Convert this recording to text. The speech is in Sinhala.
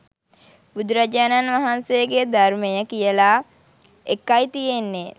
බුදුරජාණන් වහන්සේගේ ධර්මය කියලා එකයි තියෙන්නේ